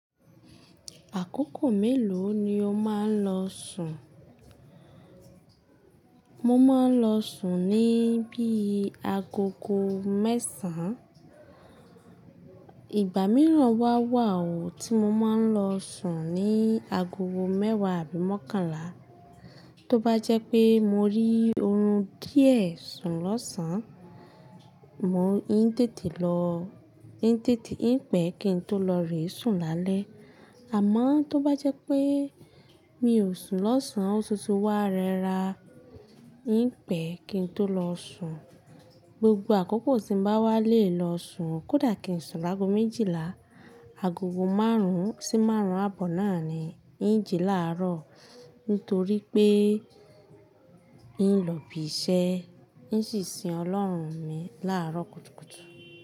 Àkókò mélòó ni o máa ń lọ sùn? Mo máa ń lọ sùn ní bí agogo mẹ́sàn-án. Ìgbà mìíràn wá wà ó tí mo máa ń lọ sùn ní agogo mẹ́wàá àbí mọ́kànlá. Tó bá jẹ́ pé mo rí oorun díẹ̀ sùn lọ́sàn-án, mo n tètè lọ, n tètè n pè kí n tó lọ rí sùn lálẹ́. Àmọ́ tó bá jẹ́ pé mi ò sùn lọ́sàn-án, ó tuntun wa rẹra, n pè kí n tó lọ sùn. Gbogbo àkókò tí n bá wá lè lọ sùn, kódà kín sùn lágo méjìlá. Agogo márùn-ún sí márùn-ún àbọ̀ náà ni n jí láàárọ̀ nítorí pé n lọ ibi iṣẹ́, n ṣì sin Ọlọ́run mi láàárọ̀ kùtùkùtù.